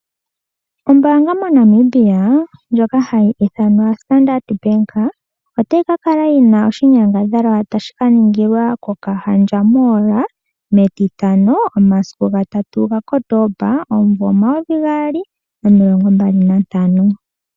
Ombaanga moNamibia ndjoka hayi ithanwa Standard Bank, otayi ka kala yi na oshinyangadhalwa tashi ka ningilwa kOkahandja Mall metitano momasiku gatatu gaKotooba, omumvo omayovigaali nomilongombali nantano.